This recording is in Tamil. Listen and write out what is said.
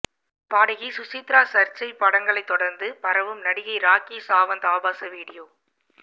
பாடகி சுசித்ரா சர்ச்சை படங்களை தொடர்ந்து பரவும் நடிகை ராக்கி சாவந்த் ஆபாச வீடியோ